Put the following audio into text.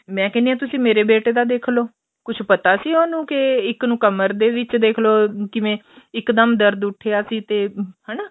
ਮੈਂ ਕਹਿੰਦੀ ਆਂ ਤੁਸੀਂ ਮੇਰੇ ਬੇਟੇ ਦਾ ਦੇਖਲੋ ਕੁੱਝ ਪਤਾ ਸੀ ਉਹਨੂੰ ਕੇ ਇੱਕ ਨੂੰ ਕਮਰ ਦੇ ਵਿੱਚ ਦੇਖਲੋ ਕਿਵੇਂ ਇੱਕ ਦਮ ਦਰਦ ਉੱਠਿਆ ਸੀ ਤੇ ਹਨਾ